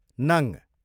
नङ